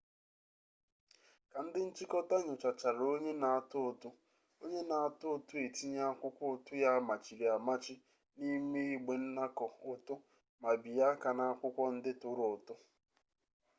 ka ndị nchịkọta nyochachara onye na-atụ ụtụ onye na-atụ ụtụ etinye akwụkwọ ụtụ ya amachiri amachi n'ime igbe nnakọ ụtụ ma bie aka n'akwụkwọ ndị tụrụ ụtụ